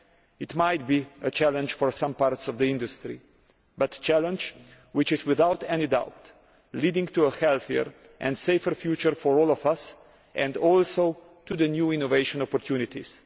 This might be a challenge for some parts of the industry, but it is a challenge which is without any doubt leading to a healthier and safer future for all of us and also to new innovation opportunities.